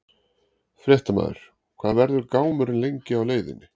Fréttamaður: Hvað verður gámurinn lengi á leiðinni?